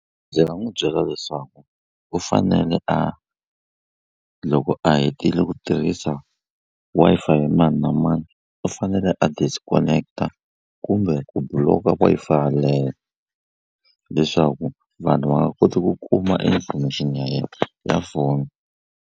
Ndzi nga n'wi byela leswaku u fanele a loko a hetile ku tirhisa Wi-Fi ya mani na mani u fanele a disconnect-a kumbe ku block-a Wi-Fi leyo leswaku vanhu va nga koti ku kuma information ya yena ya foni.